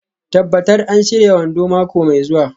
Tabbatar an shirya wando mako mai zuwa.